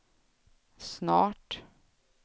snart